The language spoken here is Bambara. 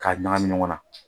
K'a ɲagami ɲɔgɔn na.